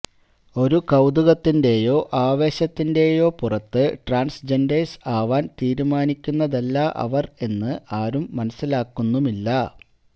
ഒരു കൌതുകത്തിന്റെയോ ആവേശത്തിന്റെയോ പുറത്ത് ട്രാൻസ്ജെൻഡേഴ്സ് ആവാൻ തീരുമാനിക്കുന്നതല്ല അവർ എന്ന് ആരും മനസ്സിലാക്കുന്നുമില്ല